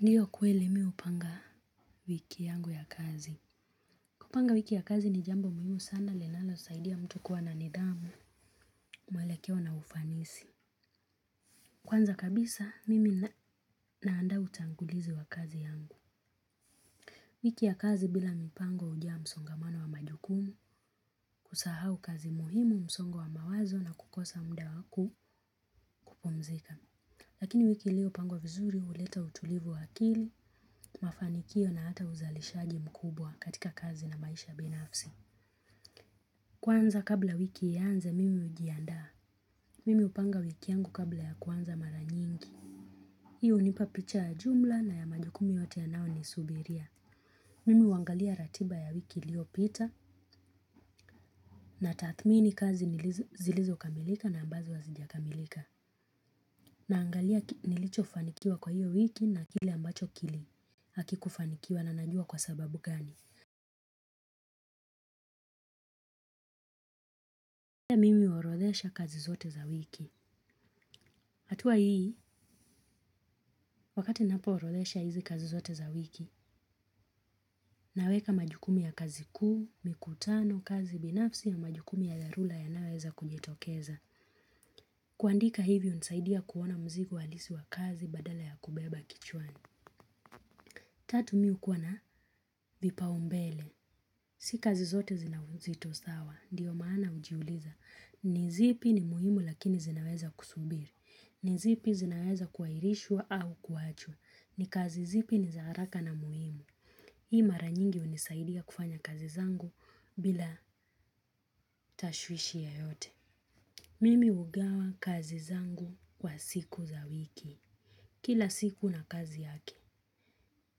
Ndiyo kweli mimi hupanga wiki yangu ya kazi. Kupanga wiki ya kazi ni jambo muhimu sana linalosaidia mtu kuwa na nidhamu, mwelekeo na ufanisi. Kwanza kabisa, mimi naandaa utangulizi wa kazi yangu. Wiki ya kazi bila mipango hujaa msongamano wa majukumu, kusahau kazi muhimu msongo wa mawazo na kukosa mda wa ku kupumzika. Lakini wiki iliyopangwa vizuri huleta utulivu wa akili, mafanikio na hata uzalishaji mkubwa katika kazi na maisha binafsi. Kwanza kabla wiki ianze mimi hujiandaa. Mimi hupanga wiki yangu kabla ya kuanza mara nyingi. Hii hunipa picha ya jumla na ya majukumu yote yanayonisubiria. Mimi huangalia ratiba ya wiki iliyopita. Natathmini kazi zilizokamilika na ambazo hazijakamilika. Naangalia nilichofanikiwa kwa hiyo wiki na kile ambacho kili hakikufanikiwa na najua kwa sababu gani pia mimi huorodhesha kazi zote za wiki. Hatua hii, wakati napoorodhesha hizi kazi zote za wiki, naweka majukumu ya kazi kuu, mikutano, kazi binafsi ya majukumu ya dharula yanayoweza kujitokeza. Kuandika hivyo hunisaidia kuona mzigo halisi wa kazi badala ya kubeba kichwani. Tatu mimi hukuwa na vipaumbele. Si kazi zote zina uzito sawa, ndiyo maana hujiuliza. Ni zipi ni muhimu lakini zinaweza kusubiri. Ni zipi zinaweza kuairishwa au kuachwa. Ni kazi zipi ni za haraka na muhimu. Hii mara nyingi hunisaidia kufanya kazi zangu bila tashwishi yoyote. Mimi hugawa kazi zangu kwa siku za wiki. Kila siku na kazi yake.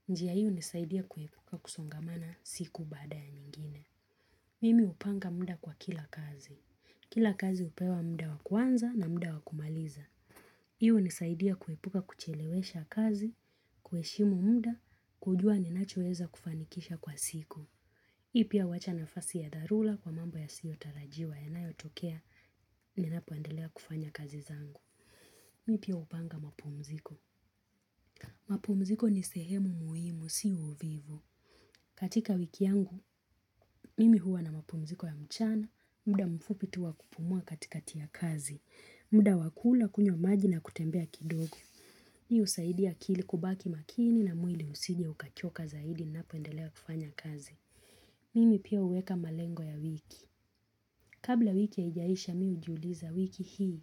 Njia hii hunisaidia kuepuka kusongamana siku baada ya nyingine. Mimi hupanga muda kwa kila kazi. Kila kazi hupewa muda wa kuanza na muda wa kumaliza. Hii hunisaidia kuepuka kuchelewesha kazi, kuheshimu muda, kujua ninachoeza kufanikisha kwa siku hii pia huacha nafasi ya dharula kwa mambo yasiyotarajiwa. Yanayotokea ninapoendelea kufanya kazi zangu. Mimi pia hupanga mapumziko. Mapumziko ni sehemu muhimu si uvivu. Katika wiki yangu, mimi huwa na mapumziko ya mchana. Mda mfupi tu wa kupumua katikati ya kazi. Mda wa kula kunywa maji na kutembea kidogo hii husaidia akili kubaki makini na mwili usije ukachoka zaidi napoendelea kufanya kazi. Mimi pia uweka malengo ya wiki. Kabla wiki haijaisha mimi hujiuliza wiki hii.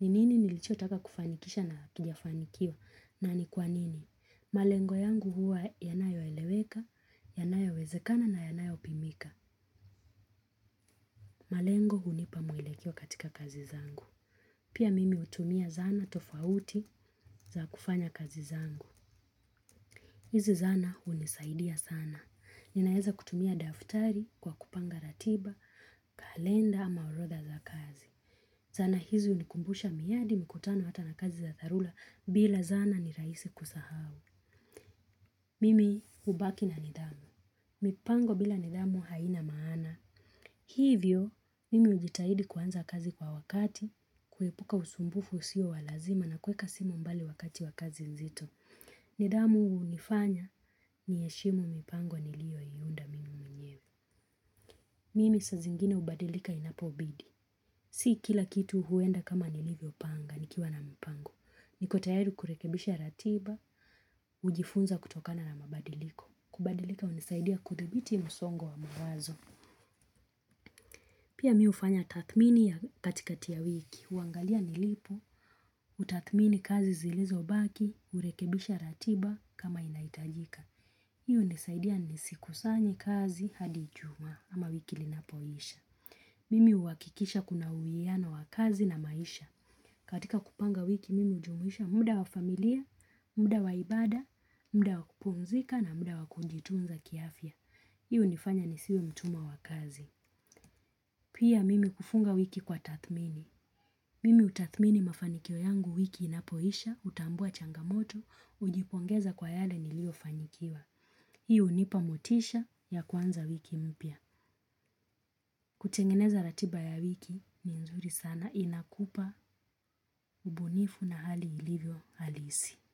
Ni nini nilichotaka kufanikisha na kijafanikiwa na ni kwa nini. Malengo yangu huwa yanayoeleweka, yanayowezekana na yanayopimika. Malengo hunipa mwelekeo katika kazi zangu. Pia mimi utumia zana tofauti za kufanya kazi zangu. Hizi zana hunisaidia sana. Ninaeza kutumia daftari kwa kupanga ratiba, kalenda ama orodha za kazi. Zana hizi hunikumbusha miradi mikutano hata na kazi za dharula bila zana ni rahisi kusahau. Mimi hubaki na nidhamu. Mipango bila nidhamu haina maana. Hivyo, mimi hujitahidi kuanza kazi kwa wakati, kuepuka usumbufu usio wa lazima na kuweka simu mbali wakati wa kazi nzito. Nidhamu hunifanya niheshimu mipango nilioiunda mimi mwenyewe. Mimi saa zingine hubadilika inapobidi. Si kila kitu huenda kama nilivyopanga, nikiwa na mpango. Niko tayari kurekebisha ratiba, hujifunza kutokana na mabadiliko. Kubadilika hunisaidia kuthibiti msongo wa mawazo. Pia mimi hufanya tathmini ya katikati ya wiki. Huangalia nilipo, kutathmini kazi zilizobaki, hurekebisha ratiba kama inahitajika. Hii hunisaidia nisikusanye kazi hadi ijumaa ama wiki linapoisha. Mimi huhakikisha kuna uwiano wa kazi na maisha. Katika kupanga wiki mimi hujumuisha muda wa familia, muda wa ibada, muda wa kupumzika na muda wa kujitunza kiafya. Hii hunifanya nisiwe mtumwa wa kazi. Pia mimi hufunga wiki kwa tathmini. Mimi hutathmini mafanikio yangu wiki inapoisha, hutambua changamoto, hujipongeza kwa yale niliyofanyikiwa. Hiyo hunipa motisha ya kuanza wiki mpya. Kutengeneza ratiba ya wiki ni nzuri sana inakupa, ubunifu na hali ilivyo halisi.